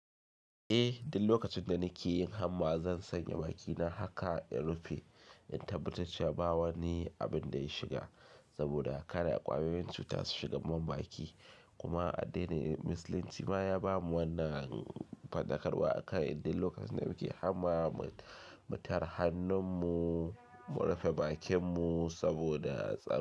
Eh, duk lokacin da nake yin hamma zan sanya bakina haka in rufe. In tabbatar cewa ba wani abin da ya shiga saboda kada ƙwayoyin cuta su shiga mun baki. Kuma addini musulunci ma ya bamu wannan faɗakarwa akan inda lokacin da muke hamma mu tare hannun mu, mu rufe bakin mu saboda tsaro.